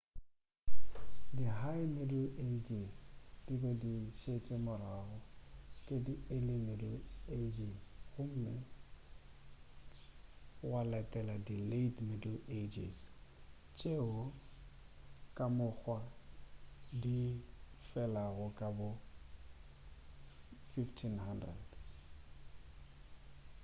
di high middle ages di be di šetšwe morago ke di early middle ages gomme gwa latela di late middle ages tšeo ka mokgwa di felago ka bo 1500